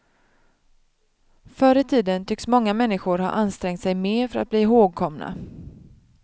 Förr i tiden tycks många människor ha ansträngt sig mer för att bli ihågkomna.